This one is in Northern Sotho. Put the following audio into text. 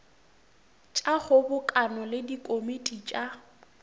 tša kgobokano le dikomiti tša